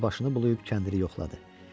Qoca başını bulayıb kəndiri yoxladı.